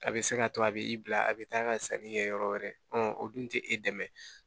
A bɛ se ka to a bɛ i bila a bɛ taa ka sanni kɛ yɔrɔ wɛrɛ o dun tɛ e dɛmɛ